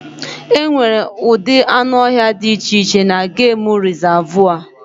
E nwere ụdị anụ ọhịa di iche iche na gemụ rizavụ.